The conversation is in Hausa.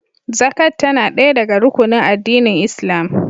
Zakat tana ɗaya daga rukunin addinin Islam